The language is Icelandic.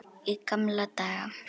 Í gamla daga.